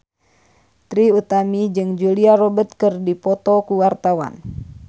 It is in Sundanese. Trie Utami jeung Julia Robert keur dipoto ku wartawan